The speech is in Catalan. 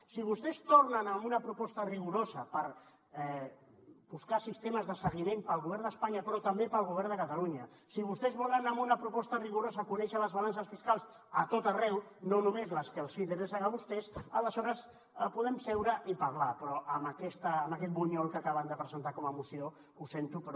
si vostès tornen amb una proposta rigorosa per buscar sistemes de seguiment per al govern d’espanya però també per al govern de catalunya si vostès volen anar amb una proposta rigorosa a conèixer les balances fiscals a tot arreu no només les que els interessen a vostès aleshores podem seure i parlar però amb aquest bunyol que acaben de presentar com a moció ho sento però